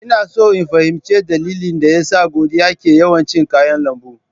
Ina so in fahimci dalilin da yasa Godiya ke yawan cin kayan lambu.